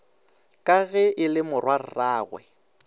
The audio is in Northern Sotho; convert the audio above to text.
ka ge e le morwarragwe